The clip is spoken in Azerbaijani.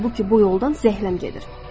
Halbuki bu yoldan zəhləm gedir.